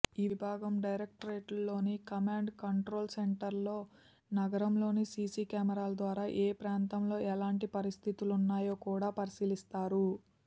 ఈ విభాగం డైరెక్టరేట్లోని కమాండ్ కంట్రోల్సెంటర్లో నగరంలోని సీసీ కెమెరాల ద్వారా ఏప్రాంతంలో ఎలాంటి పరిస్థితులున్నాయో కూడా పరిశీలిస్తారు